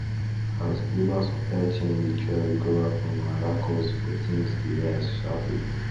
as global supply chain dey try recover from wahala cost for things dey rise sharply